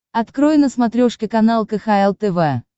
открой на смотрешке канал кхл тв